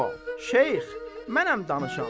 Şeyx, mənəm danışan.